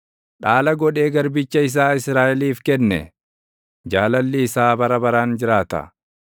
dhaala godhee garbicha isaa Israaʼeliif kenne; Jaalalli isaa bara baraan jiraata.